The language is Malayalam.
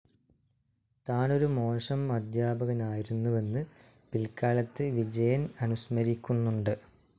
താനൊരു മോശം അദ്ധ്യാപകനായിരുന്നുവെന്ന് പിൽക്കാലത്ത് വിജയൻ അനുസ്മരിക്കുന്നുണ്ട്.